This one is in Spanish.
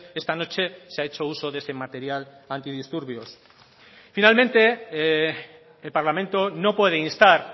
esta noche se ha hecho uso de ese material antidisturbios finalmente el parlamento no puede instar